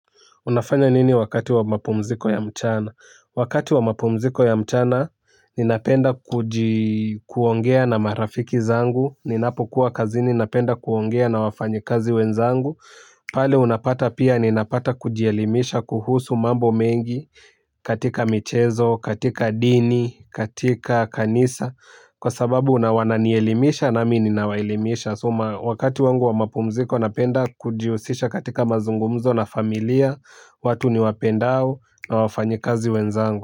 Unafanya nini wakati wa mapumziko ya mchana? Wakati wa mapumziko ya mchana, ninapenda kuongea na marafiki zangu. Ninapokuwa kazini napenda kuongea na wafanyi kazi wenzangu. Pale unapata pia ninapata kujielimisha kuhusu mambo mengi katika michezo, katika dini, katika kanisa. Kwa sababu nawana nielimisha nami ninawaelimisha. Na sema wakati wangu wa mapumziko napenda kujiusisha katika mazungumzo na familia. Watu niwapendao na wafanyikazi wenzangu.